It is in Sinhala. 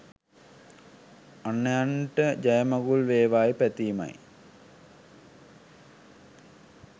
අන්‍යයන්ට ජයමඟුල් වේවායි පැතීමයි.